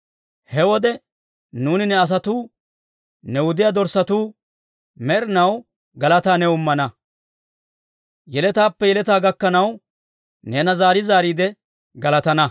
He wode nuuni ne asatuu, ne wudiyaa dorssatuu, med'inaw galataa new immana; yeletaappe yeletaa gakkanaw neena zaari zaariide galatana.